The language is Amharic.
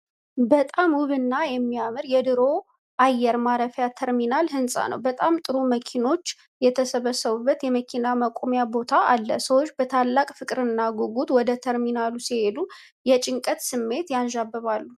በጣም ውብና የሚያምር የድሮ አየር ማረፊያ ተርሚናል ሕንፃ ነው። በጣም ጥሩ መኪኖች የተሰበሰቡበት የመኪና ማቆሚያ ቦታ አለ። ሰዎች በታላቅ ፍቅርና ጉጉት ወደ ተርሚናሉ ሲሄዱ፣ የጭንቀት ስሜትም ያንዣብባል።